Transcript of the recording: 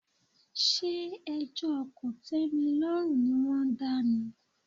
Ṣé ẹjọ́ kòtímilọ́rùn ni wọ́n dá ni?